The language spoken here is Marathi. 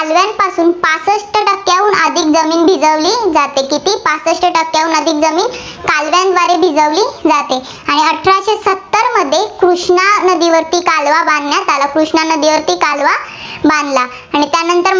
अधिक जमीन भिजवली जाते, सहासष्ठ टक्केहून अधिक जमीन कालव्यांद्वारे भिजवली जाते. आणि सत्तरमध्ये कृष्णा नदीवरती कालवा बांधण्यात आला. कृष्णा नदीवरती कालवा बांधला आणि त्यानंतर मग